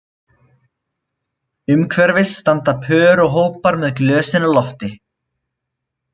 Umhverfis standa pör og hópar með glösin á lofti